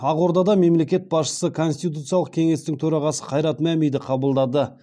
ақордада мемлекет басшысы конституциялық кеңестің төрағасы қайрат мәмиді қабылдады